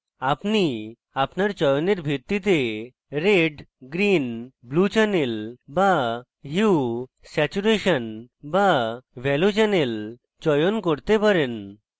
আপনি আপনার চয়নের ভিত্তিতে red green blue channel বা hue saturation বা value channel চয়ন করতে পারেন